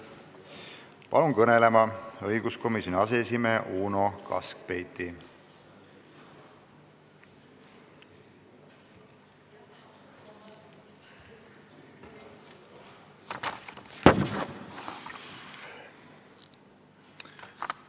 Palun kõnelema õiguskomisjoni aseesimehe Uno Kaskpeiti!